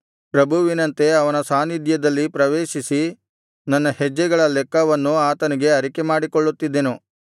ಪ್ರಭುವಿನಂತೆ ಆತನ ಸಾನ್ನಿಧ್ಯದಲ್ಲಿ ಪ್ರವೇಶಿಸಿ ನನ್ನ ಹೆಜ್ಜೆಗಳ ಲೆಕ್ಕವನ್ನು ಆತನಿಗೆ ಅರಿಕೆಮಾಡಿಕೊಳ್ಳುತ್ತಿದ್ದೆನು